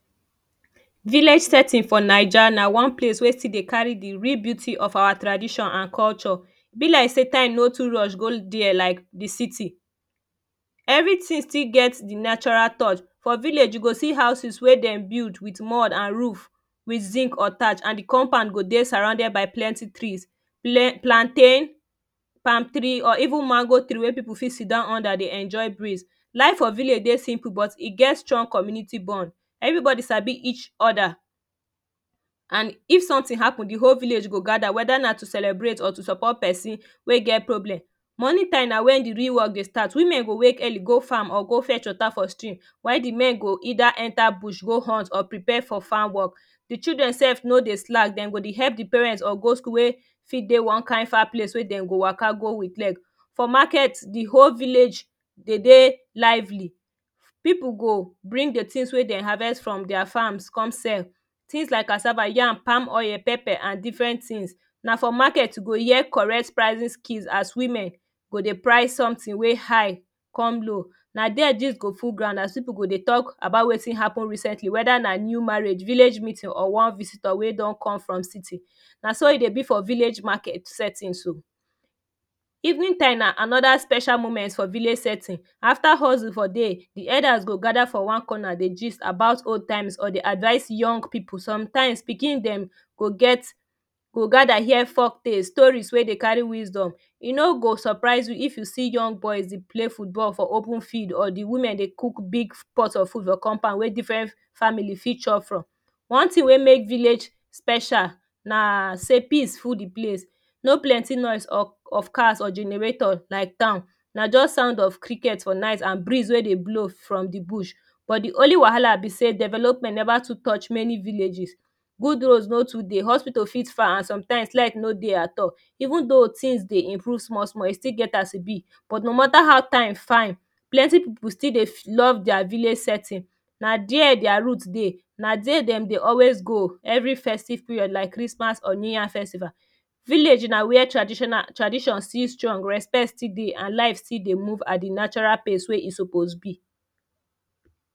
Village setting for naija na one place wey still dey carry de real beauty of our tradition an culture e be like say earth no too rush go dia like de city everytin still get de natural touch for village you go see houses wey dem build wit mud an roof with zinc or tatch de compound go dye surrounded by plenty trees plantain palm tree or even mango tree wey people got sidown under dey enjoy breeze. Life for village dey simple but e get strong community bond everybody Sabi each other and if sometin happen de whole village go gada weda na to celebrate or to support person wey get problem Morning time na when the real work dey start women go wake early go farm or go fetch wata for stream while de men go either enter bush go hunt or prepare for farm work de children sef no dey slack dem go dey help de parents or go school wey for dey one kind far place wey dem go waka go wit leg for market de whole village e dey lively people bring de tins wey dem harvest from dia farms come sell things like cassava yam palm oil and different things na for market you go here correct pricing skills as women go dey price sometin wey high come low na there gist go full ground as people go dey talk about wetin happen recently weda na new marriage village meeting or one visitor wey don come from city na so e dey be for village market settings oo evening time na anoda special moment for village setting after Hustle for day de elders go gather for one corner dey gist about old times or dey advice young people sometimes pikin dem go get go gada here folktales stories wey dey carry wisdom e no go suprise you if you see young boys dey play football for open field or de women dey cook big pot of food for compound wey different family fit chop from One tin wey make village special na say peace full de place no plenty noise of cars or generators like town na just sound of cricket for night and breeze wey dey blow from de bush bush but de only wahala be say development never too touch many villages good roads no too dey, hospital for far and some times leg no dey at all even tho tins dey improve small small e still get as e be but no matter how time fine plenty people fit still dey love dia village setting na there dia root dey na dia dem dey always go every festive period like Christmas or new yam festival. Village na wia traditional tradition still strong respect still dey an life still dey move at the natural phase wey e suppose dey move